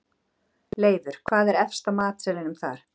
Leifur, hvað er efst á matseðlinum þar?